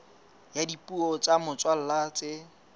ya dipuo tsa motswalla tse